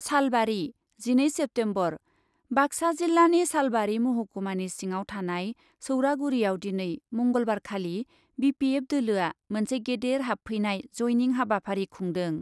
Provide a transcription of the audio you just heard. सालबारि , जिनै सेप्तेम्बर, बाक्सा जिल्लानि सालबारि महकुमानि सिङाव थानाय सौरागुरियाव दिनै मंगलबारखालि बिपिएफ दोलोआ मोनसे गेदेर हाबफैनाय, जयनिं हाबाफारि खुंदों ।